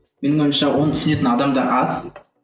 менің ойымша оны түсінетін адамдар аз